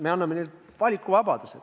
Me anname neile valikuvabaduse.